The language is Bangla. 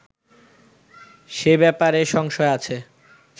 সে ব্যাপারে সংশয় আছে